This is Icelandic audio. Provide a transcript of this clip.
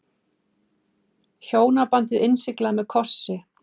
Hjónabandið innsiglað með kossi